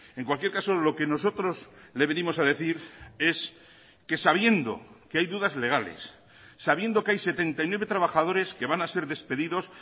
en cualquier caso lo que nosotros le venimos a decir es que sabiendo que hay dudas legales sabiendo que hay setenta y nueve trabajadores que van a ser despedidos